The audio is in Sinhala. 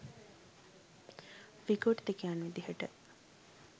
විකෘතිකයන් විදිහට